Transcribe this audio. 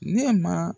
Ne ma